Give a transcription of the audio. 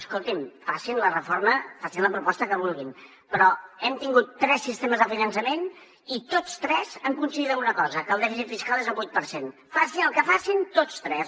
escolti’m facin la proposta que vulguin però hem tingut tres sistemes de finançament i tots tres han coincidit en una cosa que el dèficit fiscal és del vuit per cent facin el que facin tots tres